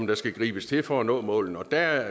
der skal gribes til for at nå målene der